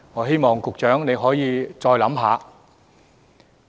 希望局長再加考慮。